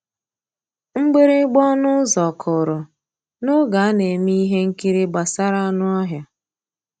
Mgbìrìgbà ọnụ́ ụ́zọ̀ kụ́rụ̀ n'ògé á ná-èmè íhé nkírí gbàsàrà ànú ọ́híá.